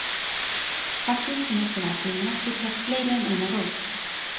Fallið sem er til athugunar getur haft fleiri en eina rót.